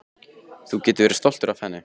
Þú getur verið stoltur af henni.